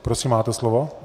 Prosím, máte slovo.